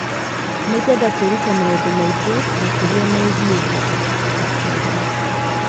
"Nĩ ngwenda kwĩruta maũndũ maingĩ makĩria megiĩ thĩ" akiuga.